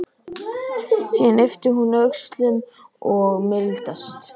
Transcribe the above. Síðan ypptir hún öxlum og mildast.